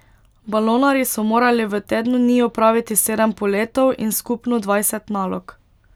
Balonarji so morali v tednu dni opraviti sedem poletov in skupno dvajset nalog.